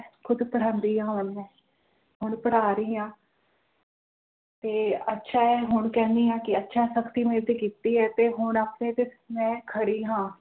ਖੁਦ ਪੜ੍ਹਾਉਂਦੀ ਹਾਂ ਹੁਣ ਮੈਂ ਹੁਣ ਪੜ੍ਹਾ ਰਹੀ ਹਾਂ ਤੇ ਅੱਛਾ ਹੈ ਹੁਣ ਕਹਿਨੀ ਆ ਕੇ ਅੱਛਾ ਹੈ ਸਖਤੀ ਮੇਰੇ ਤੇ ਹੈ ਤੇ ਹੁਣ ਆਪਣੇ ਤੇ ਮੈਂ ਖੜੀ ਹਾਂ